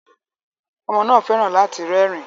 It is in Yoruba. Ọmọ náà fẹ́ràn láti rẹ́rìn-ín